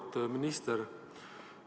Auväärt minister!